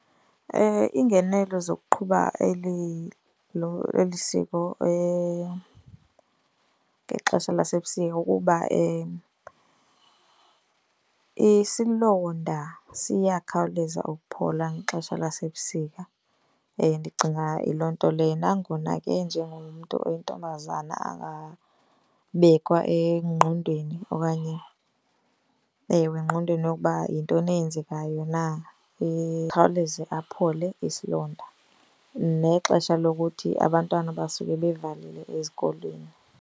Iingenelo zokuqhuba eli, lo, eli siko ngexesha lasebusika kukuba isilonda siyakhawuleza ukuphola ngexesha lasebusika. Ndicinga yiloo nto le. Nangona ke njengomntu oyintombazana angabekwa engqondweni okanye ewe engqondweni yokuba yintoni eyenzekayo na, ikhawuleze aphole isilonda. Nexesha lokuthi abantwana basuke bevalile ezikolweni.